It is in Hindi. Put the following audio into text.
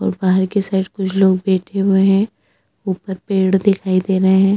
और बाहर के साइड कुछ लोग बैठे हुए है ऊपर पेड़ दिखाई दे रहे है ।